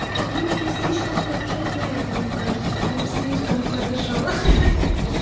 вы меня слишком хорошо знаете мне кажется прямо слишком хорошо ха-ха